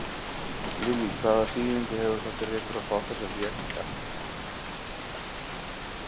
Lillý: Hvaða þýðingu hefur það fyrir ykkur að fá þessa vél hingað?